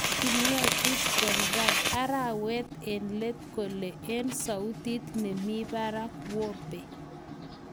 Kingetiech Condrad arawet eng' let kole eng' sautit nemi parak �whopee�